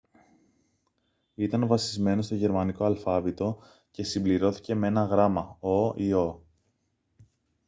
ήταν βασισμένο στο γερμανικό αλφάβητο και συμπληρώθηκε με ένα γράμμα [«õ / õ»]